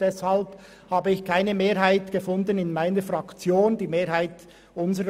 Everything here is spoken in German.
Deshalb habe ich in meiner Fraktion keine Mehrheit gefunden.